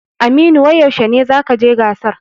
Aminu wai yaushe ne zakaje gasar?